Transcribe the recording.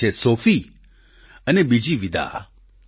એક છે સોફી અને બીજી વિદા